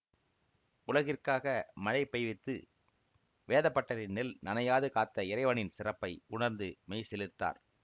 உலகிற்காக மழை பெய்வித்து வேதபட்டரின் நெல் நனையாது காத்த இறைவனின் சிறப்பை உணர்ந்து மெய்சிலிர்த்தார்